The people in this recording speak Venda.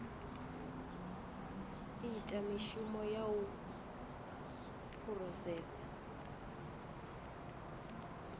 ita mishumo ya u phurosesa